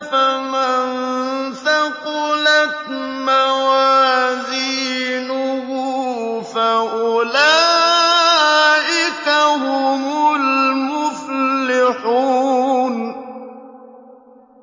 فَمَن ثَقُلَتْ مَوَازِينُهُ فَأُولَٰئِكَ هُمُ الْمُفْلِحُونَ